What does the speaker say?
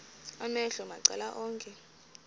amehlo macala onke